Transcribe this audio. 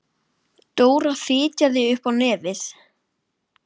Dóra fitjaði upp á nefið.